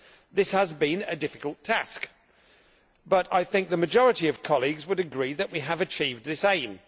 This has been a difficult task but I think the majority of colleagues would agree that we have achieved this aim.